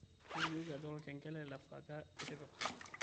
tolikioki ajo olkengele le saaja itipika